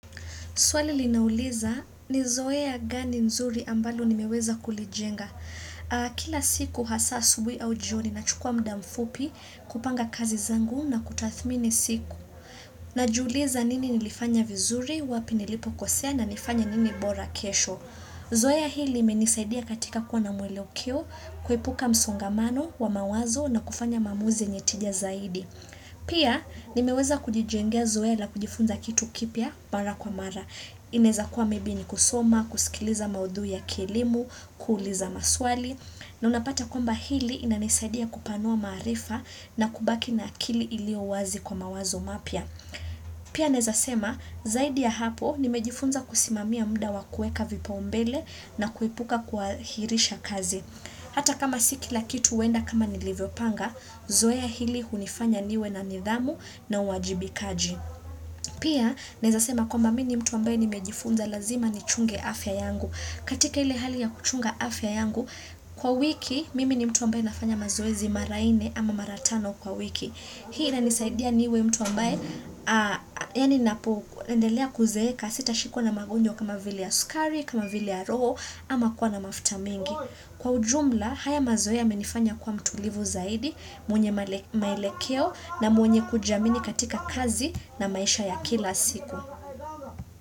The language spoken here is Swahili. Swali linauliza ni zoea gani nzuri ambalo ninaweza kulijenga. Kila siku hasa asubuhi au jioni nachukua muda mfupi kupanga kazi zangu na kutathimini siku. Najiuliza nini nilifanya vizuri, wapi nilipokosea na nifanya nini bora kesho. Zoea hili limenisaidia katika kuwa na mwelekeo, kuepuka msongamano wa mawazo na kufanya maamuzi yenye tija zaidi. Pia nimeweza kujijengea zoea la kujifunza kitu kipya mara kwa mara Inawezakua mebi ni kusoma, kusikiliza maudhui ya kielimu, kuuliza maswali na unapata kwamba hili inanisaidia kupanua maarifa na kubaki na akili iliyo wazi kwa mawazo mapya Pia naweza sema zaidi ya hapo nimejifunza kusimamia muda wa kueka vipaumbele na kuepuka kuahirisha kazi Hata kama si kila kitu huenda kama nilivyopanga, zoea hili hunifanya niwe na nidhamu na uwajibikaji. Pia, naweza sema kwamba mimi ni mtu ambaye nimejifunza lazima nichunge afya yangu. Katika ile hali ya kuchunga afya yangu, kwa wiki, mimi ni mtu ambaye nafanya mazoezi mara ine ama mara tano kwa wiki. Hii inisaidia niwe mtu ambaye, yani napondelea kuzeeka sitashikwa na magonjwa kama vile ya sukari, kama vile ya roho, ama kwa na mafuta mengi. Kwa ujumla, haya mazoea yamenifanya kuwa mtulivu zaidi, mwenye maelekeo na mwenye kujamini katika kazi na maisha ya kila siku.